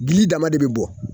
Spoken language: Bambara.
Gili dama de bi bɔ